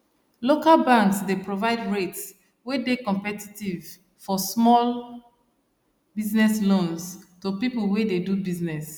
local banks dey provide rates wey dey competitive for small business loans to people wey dey do business